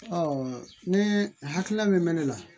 ni hakilina min bɛ ne na